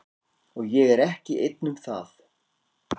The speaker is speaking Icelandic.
Og ég er ekki einn um það.